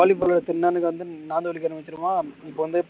cauliflower திண்ணா அன்னைக்கு வந்து வலிக்க ஆரமிச்சுருமா